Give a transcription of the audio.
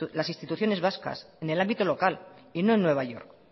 las instituciones en el ámbito local y no en nueva york